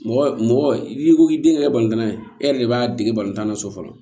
Mɔgɔ mɔgɔ n'i ko k'i den yɛrɛ ye tan na ye e yɛrɛ de b'a dege balontan na so fɔlɔ